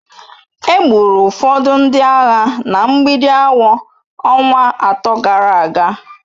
Egburu ụfọdụ ndị agha na Mgbidi awọ ọnwa atọ gara aga.